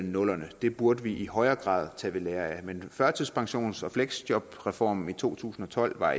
nullerne det burde vi i højere grad tage ved lære af førtidspensions og fleksjobreformen i to tusind og tolv var